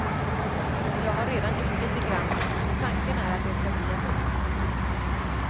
Jag har redan gjort lite grann och tanken är att det ska bli en bok.